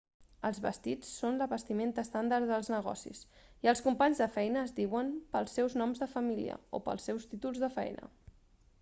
els vestits són la vestimenta estàndard dels negocis i els companys de feina es diuen pels seus noms de família o pels seus títols de feina